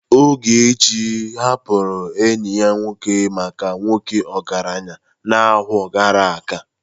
Ogechi hapụrụ enyi ya nwoke maka nwoke ọgaranya n'ọnwa gara aga.